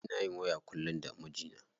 Ina yin waya kullum da mijina.